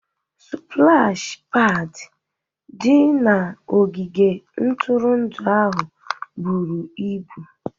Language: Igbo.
Spụlashi pad di na ogige ntụrụndụ ahụ buru ibu